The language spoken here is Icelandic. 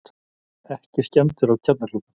Ekki skemmdir á kjarnakljúfnum